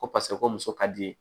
Ko paseke ko muso ka di ye